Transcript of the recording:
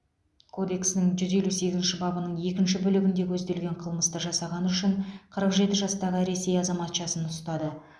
кодексінің жүз елу сегізінші бабының екінші бөлігінде көзделген қылмысты жасағаны үшін қырық жеті жастағы ресей азаматшасын ұстады